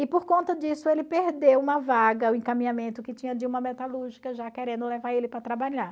E por conta disso ele perdeu uma vaga, o encaminhamento que tinha de uma metalúrgica, já querendo levar ele para trabalhar.